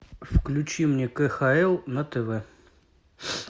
включи мне кхл на тв